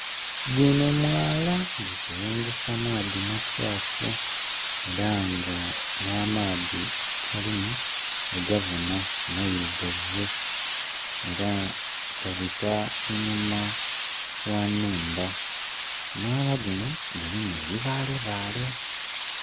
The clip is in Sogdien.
Guno mwala gukulungusa maadhi makyafu era nga nh'amaadhi agalimu ogabona mairugavu, era gabita einhuma gh'enumba. Omwala guno gulimu ebibaalebaale.